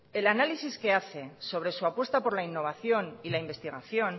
el análisis que hace sobre su apuesta por la innovación y la investigación